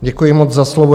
Děkuji moc za slovo.